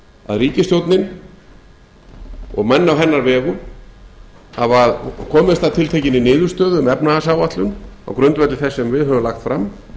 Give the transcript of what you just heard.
að ríkisstjórnin og menn á hennar vegum hafa komist að tiltekinni niðurstöðu um efnahagsáætlun á grundvelli þess sem við höfum lagt fram